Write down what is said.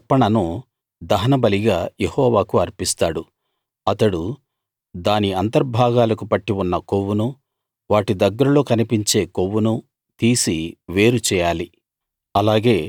తన అర్పణను దహనబలిగా యెహోవాకు అర్పిస్తాడు అతడు దాని అంతర్భాగాలకు పట్టి ఉన్న కొవ్వునూ వాటి దగ్గరలో కనిపించే కొవ్వునూ తీసి వేరు చేయాలి